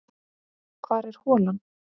Hvar er holan?